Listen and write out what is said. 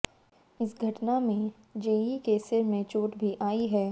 इस घटना में जेई के सिर में चोट भी आयी है